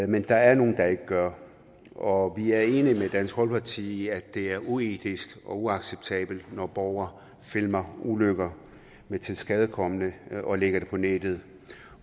men der er nogle der ikke gør og vi er enige med dansk folkeparti i at det er uetisk og uacceptabelt når borgere filmer ulykker med tilskadekomne og lægger det på nettet